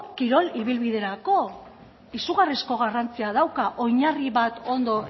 kirol ibilbiderako izugarrizko garrantzia dauka oinarri bat ondo